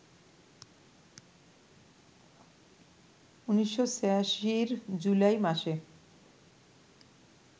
১৯৮৬-র জুলাই মাসে